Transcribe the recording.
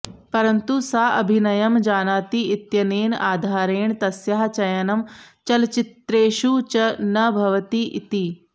परन्तु सा अभिनयं जानाति इत्यनेन आधारेण तस्याः चयनं चलच्चित्रेषु न भवति इति